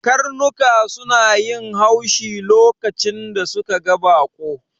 Karnuka suna yin haushi lokacin da suka ga baƙo